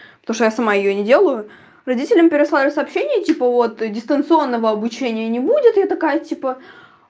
потому что я сама её не делаю родителям переслали сообщение типа вот дистанционного обучения не будет я такая типа